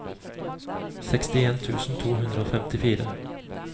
sekstien tusen to hundre og femtifire